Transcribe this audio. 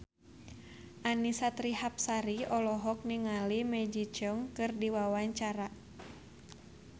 Annisa Trihapsari olohok ningali Maggie Cheung keur diwawancara